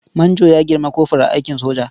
Manjo ya girmi kofur a aikin soja.